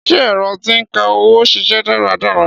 Ṣé ẹ̀rọ tí ń ka owó ń ṣiṣẹ́ dára dára?